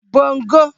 bongo